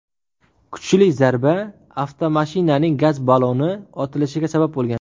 Kuchli zarba avtomashinaning gaz balloni otilishiga sabab bo‘lgan.